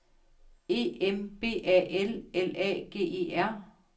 E M B A L L A G E R